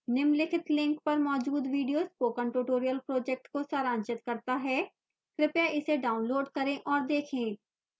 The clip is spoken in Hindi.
निम्नलिखित link पर मौजूद video spoken tutorial project को सारांशित करता है कृपया इसे डाउनलोड करें और देखें